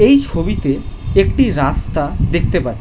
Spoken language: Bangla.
এই ছবিতে একটি রাস্তা দেখতে পা --